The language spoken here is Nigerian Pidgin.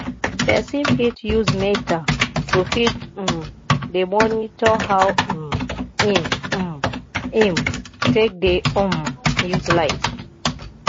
person fit use meter to fit um dey monitor how um im um im take dey um use light